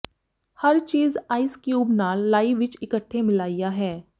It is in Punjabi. ਹਰ ਚੀਜ਼ ਆਈਸ ਕਿਊਬ ਨਾਲ ਾਈ ਵਿੱਚ ਇਕੱਠੇ ਮਿਲਾਇਆ ਹੈ